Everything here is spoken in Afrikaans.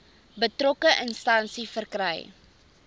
betrokke instansie verkry